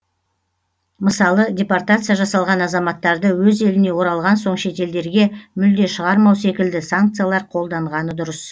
мысалы депортация жасалған азаматтарды өз еліне оралған соң шетелдерге мүлде шығармау секілді санкциялар қолданғаны дұрыс